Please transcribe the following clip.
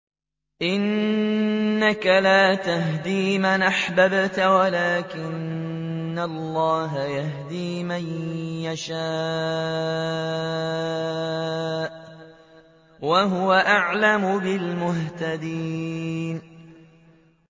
إِنَّكَ لَا تَهْدِي مَنْ أَحْبَبْتَ وَلَٰكِنَّ اللَّهَ يَهْدِي مَن يَشَاءُ ۚ وَهُوَ أَعْلَمُ بِالْمُهْتَدِينَ